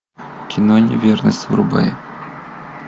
кино неверность врубай